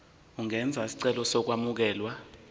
ungenza isicelo sokwamukelwa